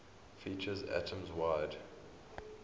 features atoms wide